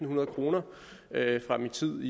hundrede kroner fra min tid